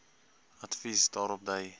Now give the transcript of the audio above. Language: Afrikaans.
advies daarop dui